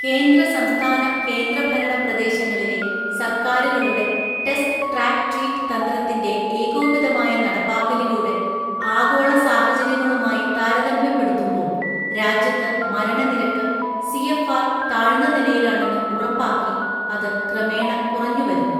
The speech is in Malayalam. കേന്ദ്ര സംസ്ഥാന കേന്ദ്രഭരണപ്രദേശങ്ങളിലെസർക്കാരുകളുടെ ടെസ്റ്റ്ട്രാക്ക്ട്രീറ്റ് തന്ത്രത്തിന്റെ ഏകോപിതമായ നടപ്പാക്കലിലൂടെ ആഗോളസാഹചര്യങ്ങളുമായി താരതമ്യപ്പെടുത്തുമ്പോൾ രാജ്യത്ത് മരണനിരക്ക് സിഎഫ്ആർ താഴ്ന്ന നിലയിലാണെന്ന് ഉറപ്പാക്കി, അത് ക്രമേണ കുറഞ്ഞുവരുന്നു.